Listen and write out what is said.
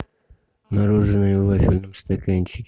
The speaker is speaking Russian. мороженое в вафельном стаканчике